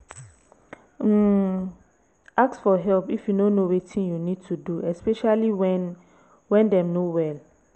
um ask for help if you no know wetin you need to do especially when when dem no well